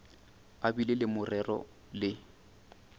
a bile le morero le